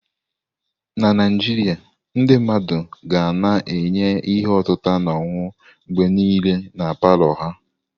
Na Naijiria, ndị mmadụ ga na-enye ihe otita na ọṅụṅụ mgbe niile na palọ ha.